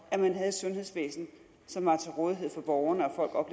at man havde et sundhedsvæsen som var til rådighed for borgerne og